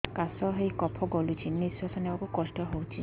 କାଶ ହେଇ କଫ ଗଳୁଛି ନିଶ୍ୱାସ ନେବାକୁ କଷ୍ଟ ହଉଛି